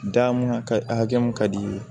Da mun ka hakɛ mun ka di i ye